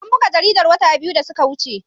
An buga jaridar wata biyu da suka wuce.